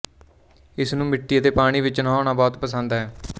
ਇਸ ਨੂੰ ਮਿੱਟੀ ਅਤੇ ਪਾਣੀ ਵਿੱਚ ਨਹਾਉਣਾ ਬਹੁਤ ਪਸੰਦ ਹੈ